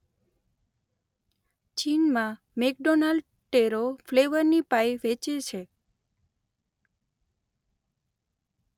ચીનમાં McDonald taro ફ્લેવરની pie વેચે છે.